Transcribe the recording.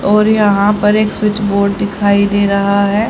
और यहां पर एक स्विच बोर्ड दिखाई दे रहा है।